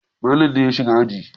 Malam ne ya shiga aji.